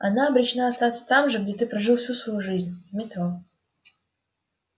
она обречена остаться там же где ты прожил всю свою жизнь в метро